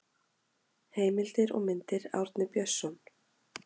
heimildir og myndir árni björnsson